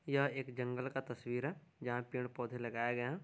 यह एक जंगल का तस्वीर है जहाँ पेड-पौधे लगाए गए हैं।